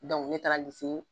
ne taara